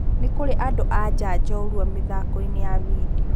Nĩkũrĩ andũ-a-nja njorwa mĩthakoinĩ ya vindio